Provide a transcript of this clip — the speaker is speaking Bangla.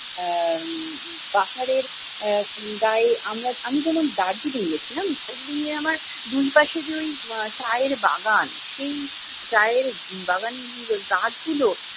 আহ পাহাড়ের আহ গায়ে আমরা আমি যখন দার্জিলিং গেছিলাম, দার্জিলিং এ আমার দুইপাশে যে ঐ চায়ের বাগান, সেই চায়ের বাগানের গাছগুলো